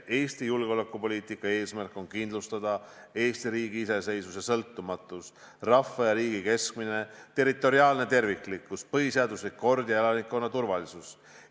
Eesti julgeolekupoliitika eesmärk on kindlustada Eesti riigi iseseisvus ja sõltumatus, rahva ja riigi kestmine, territoriaalne terviklikkus, põhiseaduslik kord ja elanikkonna turvalisus.